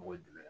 Mɔgɔ jumɛn